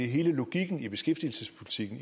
hele logikken i beskæftigelsespolitikken